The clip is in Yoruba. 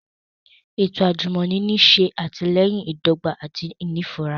Eto ajumọni n ṣe atilẹyin idọgba ati inifura